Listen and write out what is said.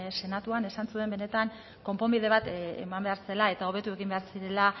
senatuan esan zuen benetan konponbide bat eman behar zela eta hobetu egin behar zirela